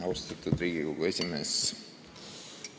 Austatud Riigikogu esimees!